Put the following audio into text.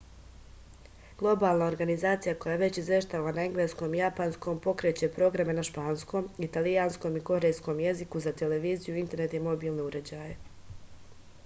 globalna organizacija koja već izveštava na engleskom i japanskom pokreće programe na španskom italijanskom i korejskom jeziku za televiziju internet i mobilne uređaje